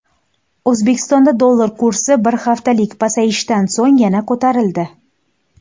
O‘zbekistonda dollar kursi bir haftalik pasayishdan so‘ng yana ko‘tarildi.